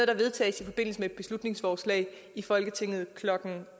der vedtages i forbindelse med et beslutningsforslag i folketinget klokken